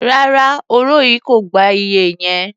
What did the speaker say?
Rárá, òro yìí kò gba iye yẹn.